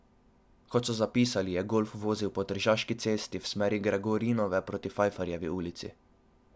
Kot so zapisali, je golf vozil po Tržaški cesti iz smeri Gregorinove proti Fajfarjevi ulici.